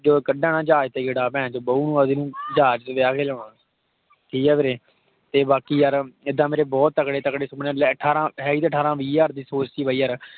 ਜੋ ਕਢਾ ਨਾ ਜਹਾਜ਼ ਵਿਚ ਗੇੜਾ ਪੈਂਚੋ ਬਹੁ ਆਪਦੀ ਨੂੰ ਜਹਾਜ਼ ਵਿਚ ਵਿਆਹ ਕੇ ਲਿਆਉਣਾ। ਠੀਕ ਹੈ ਵੀਰੇ, ਤੇ ਬਾਕੀ ਯਾਰ ਇੱਦਾਂ ਮੇਰੇ ਬਹੁਤ ਤਗੜੇ ਤਗੜੇ ਸੁਪਨੇ। ਲੈ ਤਾਂ ਹੈ ਅਠਾਰਾਂ ਵੀਹ ਹਜ਼ਾਰ ਦੀ ਸੋਚ ਸੀ ਬਾਈ ਯਾਰ।